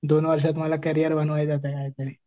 दोन वर्षात मला करियर बनवायचं आहे कायतरी.